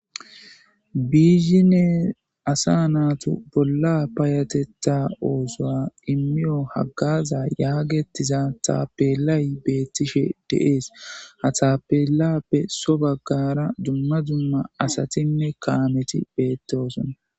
Bizhinne assa nattu bolla fayathetha ossuwa imiyo hagaza yaherhizza tapelayi bethishe de'ss. Ha tappelappe so baggara dumma dumma assathinne kamethi bethossona.